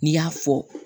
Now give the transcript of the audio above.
N'i y'a fɔ